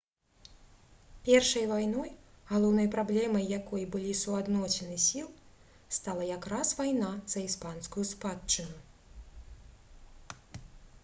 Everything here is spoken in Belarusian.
першай вайной галоўнай праблемай якой былі суадносіны сіл стала якраз вайна за іспанскую спадчыну